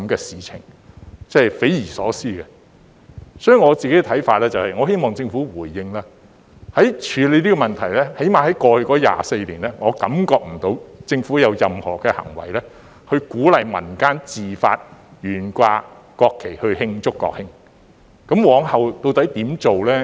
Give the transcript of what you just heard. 所以，我希望政府回應，在處理這問題上，至少在過去24年，我感覺不到政府有任何的行為是鼓勵民間自發懸掛國旗以慶祝國慶，往後究竟會如何做呢？